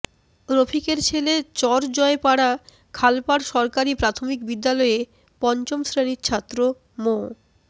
রফিকের ছেলে চরজয়পাড়া খালপাড় সরকারি প্রাথমিক বিদ্যালয়ে পঞ্চম শ্রেণির ছাত্র মো